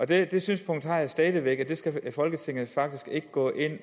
det det synspunkt har jeg stadig væk det skal folketinget faktisk ikke gå ind